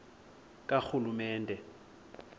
karhulumente